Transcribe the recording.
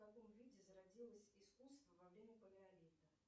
в каком виде зародилось искусство во время палеолита